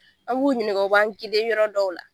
An b'u ɲininka, b'u ɲininka u b'an yɔrɔ dɔw la.